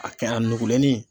A kɛn a nugulennin.